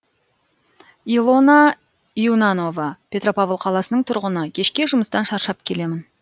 илона юнанова петропавл қаласының тұрғыны кешке жұмыстан шаршап келемін